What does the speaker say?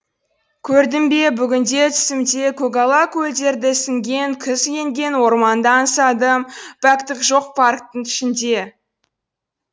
көрдім бе бүгінде түсімде көгала көлдерді ісінген күз енген орманды аңсадым пәктік жоқ парктің ішінде